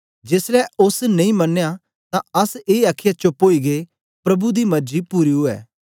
जेसलै ओस नेई मनया तां अस ए आखीयै चोप्प ओई गै प्रभु दी मर्जी पूरी ऊऐ